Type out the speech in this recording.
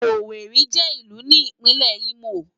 Ówéri jè ilù ni Ipinlè Imó